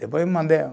Depois mandei.